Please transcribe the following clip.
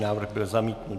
Návrh byl zamítnut.